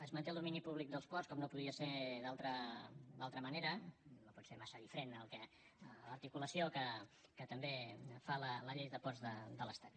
es manté el domini públic dels ports com no podia ser d’altra manera no pot ser massa diferent de l’articulació que també fa la llei de ports de l’estat